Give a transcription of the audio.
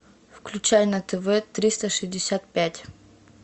включай на тв триста шестьдесят пять